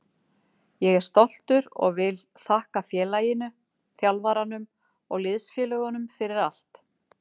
Ég er stoltur og vil þakka félaginu, þjálfaranum og liðsfélögunum fyrir allt.